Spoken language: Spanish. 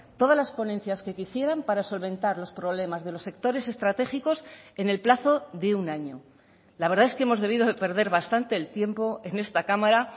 todas las ponencias que quisieran para solventar los problemas de los sectores estratégicos en el plazo de un año la verdad es que hemos debido de perder bastante el tiempo en esta cámara